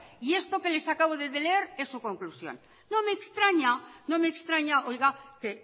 y esto que les acabo de leer es su conclusión no me extraña no me extraña que